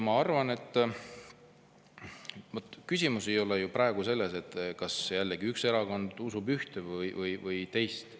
Ma arvan, et küsimus ei ole ju praegu selles jällegi, kas üks erakond usub ühte või teist.